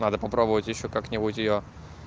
надо попробовать ещё как-нибудь её